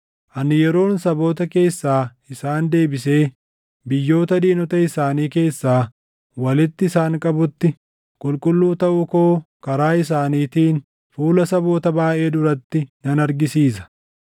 Ani yeroon saboota keessaa isaan deebisee biyyoota diinota isaanii keessaa walitti isaan qabutti, qulqulluu taʼuu koo karaa isaaniitiin fuula saboota baayʼee duratti nan argisiisa.